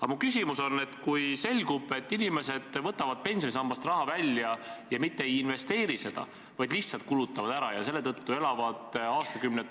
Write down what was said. Aga mu küsimus on: kui selgub, et inimesed võtavad pensionisambast raha välja ja mitte ei investeeri seda, vaid lihtsalt kulutavad ära ja ka selle tõttu elavad aastakümnete pärast suures vaesuses ...